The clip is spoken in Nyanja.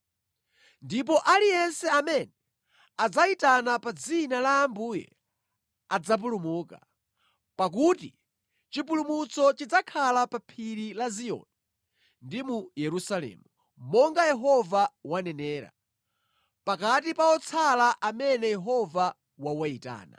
Ndipo aliyense amene adzayitana pa dzina la Ambuye adzapulumuka; pakuti chipulumutso chidzakhala pa Phiri la Ziyoni ndi mu Yerusalemu, monga Yehova wanenera, pakati pa otsala amene Yehova wawayitana.